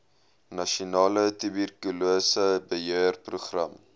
nasionale tuberkulose beheerprogram